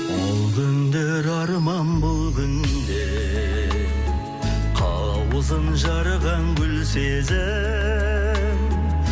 ол күндер арман бұл күнде қауызын жарған гүл сезім